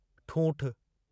ठूंठि